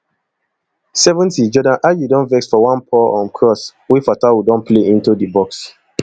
seventyjordan ayew don vex for one poor um cross wey fatawu don play into di box